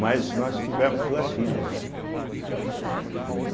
Mas nós tivemos duas filhas, né? né